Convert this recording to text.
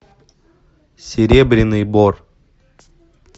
серебряный бор